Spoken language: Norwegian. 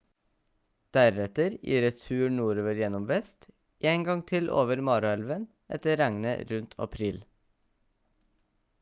deretter i retur nordover gjennom vest en gang til over mara-elven etter regnet rundt april